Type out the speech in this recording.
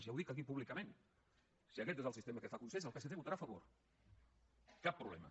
ja ho dic aquí públicament si aquest és el sistema que fa consens el psc hi votarà a favor cap problema